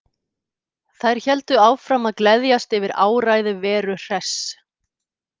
Þær héldu áfram að gleðjast yfir áræði Veru Hress.